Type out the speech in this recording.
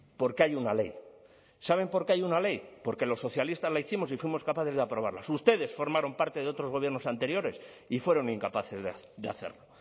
porque hay una ley saben por qué hay una ley porque los socialistas lo hicimos y fuimos capaces de aprobarlas ustedes formaron parte de otros gobiernos anteriores y fueron incapaces de hacerlo